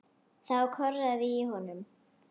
Þá korraði í honum.